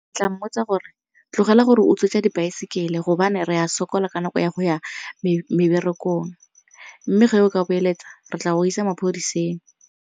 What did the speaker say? Ke tla mmotsa gore tlogela gore utswetsa dibaesekele gobane re ya sokola ka nako ya go ya meberekong mme ge o ka boeletsa re tla go isa maphodiseng.